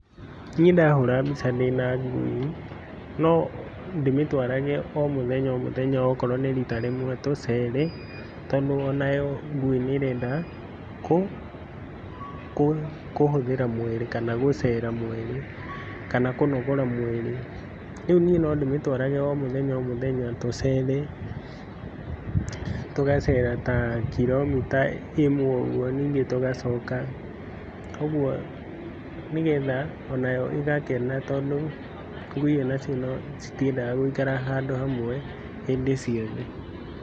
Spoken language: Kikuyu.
Niĩ ndahũra mbica ndĩna ngui, no ndĩmĩtwarage o mũthenya o mũthenya okorwo nĩ rita rĩmwe tũcere. Tondũ onayo ngui nĩ ĩrenda, kũ, kũhũthĩra mwĩrĩ kana gũcera mwĩri, kana kũnogora mwĩrĩ. Rĩu niĩ no ndĩmĩtwarage o mũthena o mũthenya tũcere, tũgacera ta kiromita ĩmwe ũguo ningĩ tũgacoka. Ũguo, nĩ getha onayo ĩgakena tondu, ngui onacio nĩ citiendaga gũikara handũ hamwe hĩndĩ ciothe.